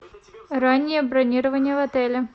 раннее бронирование в отеле